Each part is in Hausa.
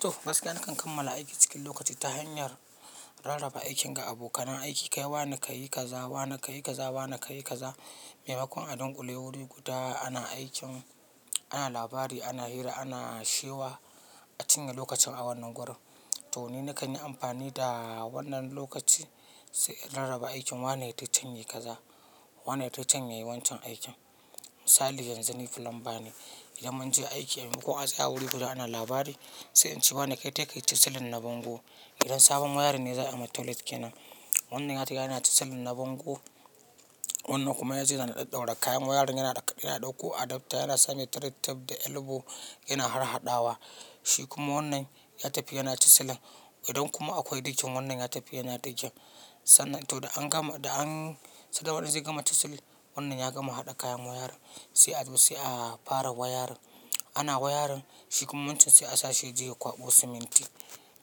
To, gaskiya nakan kammala aiki cikin lokaci ta hanyar rarraba aikin ga abokanan aiki. Kai wa ne ka yi kaza, wa ne ka yi kaza, wa ne ka yi kaza. Maimakon a dunƙule wuri guda ana aikin, ana labari, ana hira, ana shewa, a cinye lokacin a wannan gurin. To ni nakan yi amfani da wannan lokaci sai in rarraba aikin. Wa ne ta can ya yi kaza, wa ne ta can ya yi wancan aikin. Misali yanzu ni fulamba ne, idan mun je aiki, maimakon a tsaya wuri guda ana labari sai in ce wa ne kai, tai kai ta silin na bango. Idan sabon wayarin ne za a yi ma toilet kenan. Wannan yariga yana ci silin na bango. Wannan kuma yanzu yana ɗaɗɗaura kayan wayarin yana ɗauko adapter, yana sanya tape da elbow, yana harhaɗawa. Shi kuma wannan ya tafi yana cisilin. Idan kuma akwai dikin wannan ya tafi yana dikin. Sannan to da an gama, da an, sai da wannan zai gama ta silin. Wannan ya gama haɗa kayan wayarin sai a, sai a fara wayarin. Ana wayarin shi kuma wancan sai a sa shi je ya kwaɓo siminti.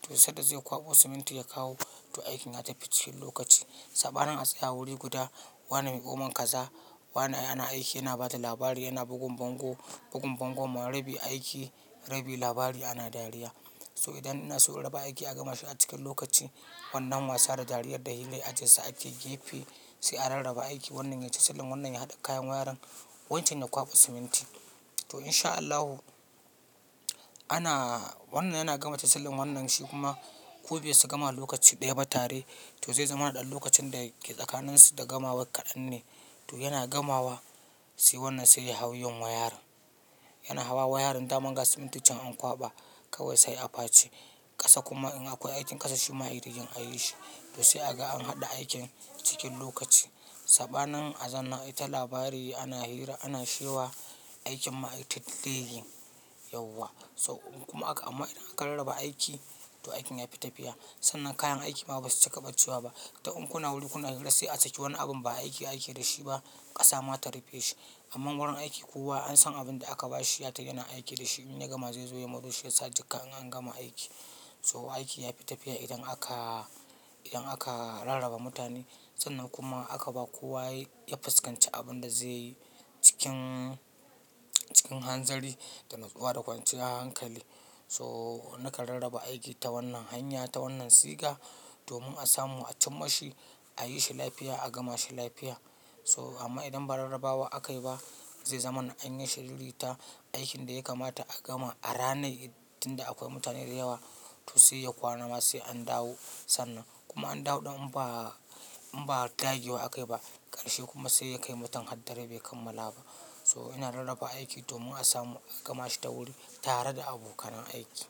To sai da zai kwaɓo siminti ya kawo. To aikin ya tafi cin lokaci. Saɓanin a tsaya wuri guda, wane miƙomon kaza, wane yana aiki, yana ba da labari, yana bugun bango, bugun bangon, marabi aiki, rabi labari ana dariya. To idan ina so rarraba aiki a gama shi a cikin lokaci, wannan wasa da dariyad da hilla aje su ake gefe sai a rarraba aiki. Wannan ya ci silin, wannan ya haɗa kayan wayarin, wancan ya kwaɓa siminti. To in sha Allahu, ana, wannan yana gama tasilin, wannan shi kuma kobe su gama lokaci ɗaya ba tare, to zai zama ɗan lokacin dake tsakaninsu da gamawan kaɗan ne. To yana gamawa sai wannan sai ya hau yin wayarin. Yana hawa wayarin daman ga simintican an kwaɓa kawai sai a pace. Ƙasa kuma in akwai aikin ƙasa shi ma ya yi rigin a yi shi. To sai a ga an haɗa aikin cikin lokaci. Saɓanin a zanna ai ta labari, ana hira, ana shewa aikin ma ai ta delaying yauwa. So kuma aka, amma idan aka rarraba aiki to aikin ya fi tafiya. Sannan kayan aiki ma basu cika ɓacewa ba. Ta'un kuna wuri, kuna hura sai a saki wannan abin ba a aiki, a ake da shi ba ƙasa mua ta rufe shi. Amma wurin aiki kowa an san abin da aka ba shi ya tai yana aiki da shi. In ya gama zai zo ya mooo shi ya sa jika in an gama aiki. So aiki ya fi tafiya idan aka, idan aka rarraba mutane. Sannan kuma aka ba kowa ya yafuskanci abin da zai yi cikin, cikin hanzari da natsuwa da kwanciya hankali. So nakan rarraba aiki ta wannan hanya, ta wannan siga domin a samu a cimma shi, a yi shi lafiya, a gama shi lafiya. So amma idan ba rarrabawa aka yi ba zai zamana an yi shiriri ta aikin da ya kamata a gama a ranai tun akwai mutane da yawa to sai ya kwana ma sai an dawo. Sannan kuma an dawo ɗin in ba, in ba dage wa aka yi ba a ƙarshe kuma sai ya kai mutun haddare bai kammala ba. So ina rarraba aiki domin a samu a gama shi ta wuri tare da abokan aiki.